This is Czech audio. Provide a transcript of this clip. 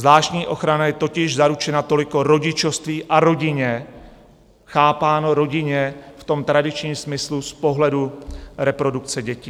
Zvláštní ochrana je totiž zaručena toliko rodičovství a rodině, chápáno rodině v tom tradičním smyslu z pohledu reprodukce dětí."